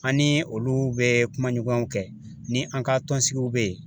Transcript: An ni olu bɛ kuma ɲɔgɔnw kɛ ni an ka tɔnsigiw bɛ yen.